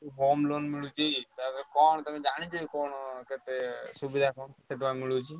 Home loan ମିଳୁଛି ତାପରେ କଣ ତମେ ଜାଣିଛ କି କଣ କେତେ ସୁବିଧା କଣ କେତେ ଟଙ୍କା ମିଳୁଛି?